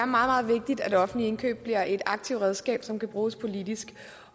meget vigtigt at offentlige indkøb bliver et aktivt redskab som kan bruges politisk